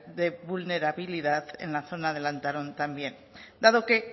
de vulnerabilidad en la zona de lantarón también dado que